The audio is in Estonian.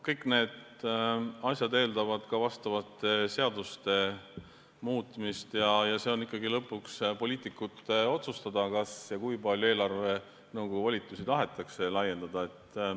Kõik need asjad eeldavad ka vastavate seaduste muutmist ja see on ikkagi lõpuks poliitikute otsustada, kas ja kui palju eelarvenõukogu volitusi tahetakse laiendada.